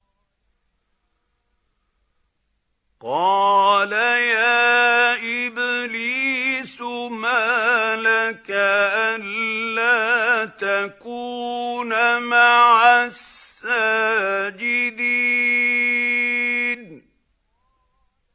قَالَ يَا إِبْلِيسُ مَا لَكَ أَلَّا تَكُونَ مَعَ السَّاجِدِينَ